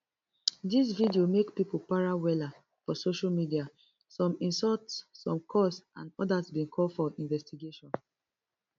dis video make pipo para wella for social media some insult some curse and odas bin call for investigation